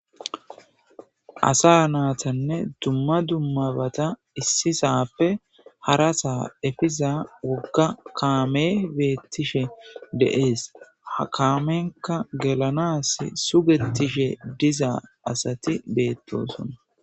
Asa naytanne dumma dummabata issisape harasa efiza woga kame betishe dees. Ha kamenika gelanasi sugetishe diza asati beetosona.